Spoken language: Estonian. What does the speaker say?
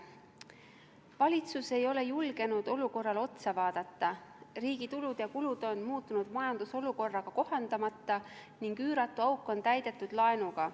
Valitsus ei ole julgenud olukorrale otsa vaadata, riigi tulud ja kulud on muutunud majandusolukorraga kohandamata ning üüratu auk on täidetud laenuga.